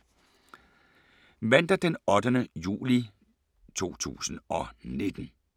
Mandag d. 8. juli 2019